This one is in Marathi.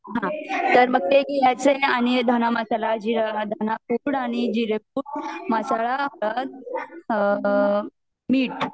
आणि ते मग असेल आणि धना मसाला जीरा मसाला आणि जिरे अ अ अ अ आणि मीट